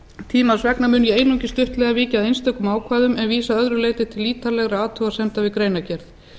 tímans vegna mun ég einungis stuttlega víkja að einstökum ákvæðum en vísa að öðru leyti til ítarlegra athugasemda við greinargerð